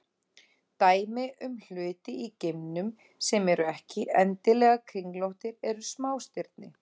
Dæmi um hluti í geimnum sem eru ekki endilega kringlóttir eru smástirni.